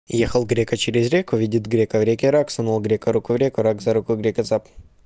ехал грека через реку видит грека в реке рак сунул грека руку в реку рак за руку грека цап